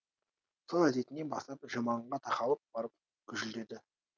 сол әдетіне басып жұманға тақалып барып гүжілдеді